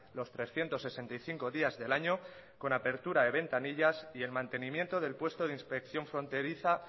los trescientos sesenta y cinco días del año con apertura de ventanillas y el mantenimiento del puesto de inspección fronteriza